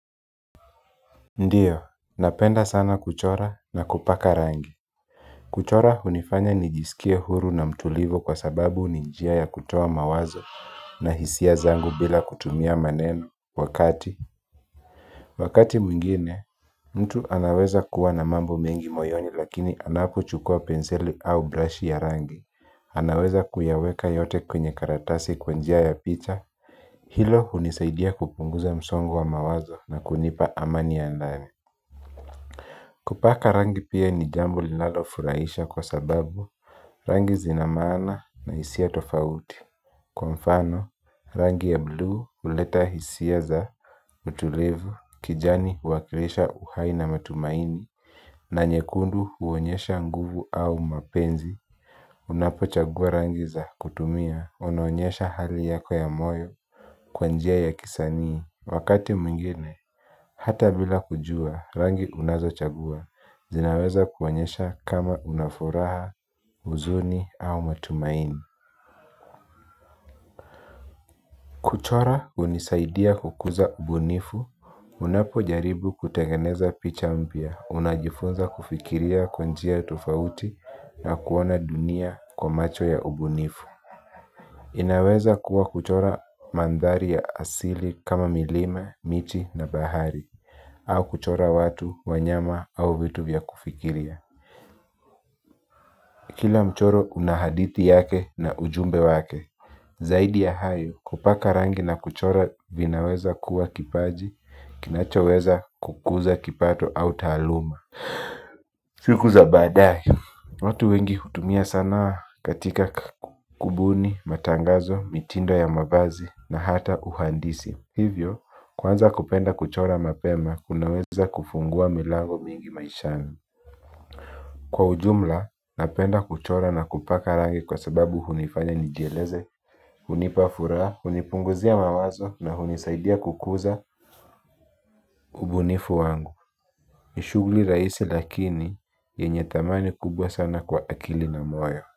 Ndiyo, napenda sana kuchora na kupaka rangi. Kuchora hunifanya nijisikie huru na mtulivu kwa sababu ni njia ya kutoa mawazo na hisia zangu bila kutumia maneno. Wakati wakati mwingine, mtu anaweza kuwa na mambo mengi moyoni lakini anapochukua penseli au brashi ya rangi anaweza kuyaweka yote kwenye karatasi kwa njia ya picha hilo hunisaidia kupunguza msongo wa mawazo na kunipa amani ya ndani. Kupaka rangi pia ni jambo linalofurahisha kwa sababu rangi zina maana na hisia tofauti kwa mfano rangi ya bluu huleta hisia za utulivu, kijani huwakilisha uhai na matumaini. Na nyekundu huonyesha nguvu au mapenzi unapo chagua rangi za kutumia, unaonyesha hali yako ya moyo kwa njia ya kisanii wakati mwingine hata bila kujua rangi unazochagua zinaweza kuonyesha kama unafuraha, huzuni au matumaini. Kuchora hunisaidia kukuza ubunifu, unapojaribu kutengeneza picha mpya unajifunza kufikiria kwa njia tofauti na kuona dunia kwa macho ya ubunifu. Inaweza kuwa kuchora mandhari ya asili kama milima, miti na bahari. Au kuchora watu, wanyama au vitu vya kufikiria. Kila mchoro una hadithi yake na ujumbe wake. Zaidi ya hayo kupaka rangi na kuchora vinaweza kuwa kipaji kinachoweza kukuza kipato au taaluma. Siku za baadae watu wengi hutumia sanaa katika kubuni matangazo, mitindo ya mavazi na hata uhandisi. Hivyo, kwanza kupenda kuchora mapema kunaweza kufungua milago mingi maishani. Kwa ujumla, napenda kuchora na kupaka rangi kwa sababu hunifanya nijieleze. Hunipa furaha, hunipunguzia mawazo na hunisaidia kukuza ubunifu wangu. Nishughuli rahisi lakini yenye thamani kubwa sana kwa akili na moyo.